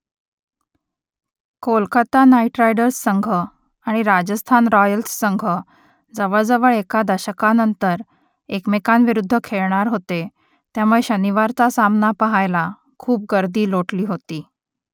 Kolkata Knight Riders संघ आणि Rajasthan Royals संघ जवळजवळ एका दशकानंतर एकमेकांविरुद्ध खेळणार होते त्यामुळे शनिवारचा सामना पहायला खूप गर्दी लोटली होती